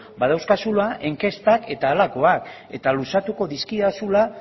badauzkazula inkestak eta halakoak eta luzatuko dizkidazula